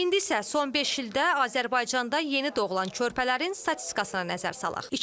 İndi isə son beş ildə Azərbaycanda yeni doğulan körpələrin statistikasına nəzər salaq.